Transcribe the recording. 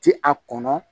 Ti a kɔnɔ